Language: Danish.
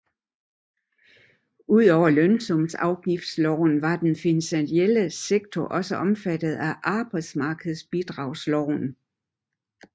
Udover lønsumsafgiftsloven var den finansielle sektor også omfattet af arbejdsmarkedsbidragsloven